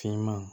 Finman